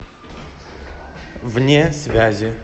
вне связи